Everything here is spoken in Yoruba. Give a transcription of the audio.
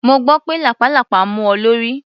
Mo gbọ́ pé lápàlàpá mú ọ lórí.